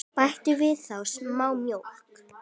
Bætið þá við smá mjólk.